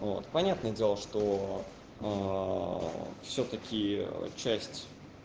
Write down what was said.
вот понятное дело что всё-таки часть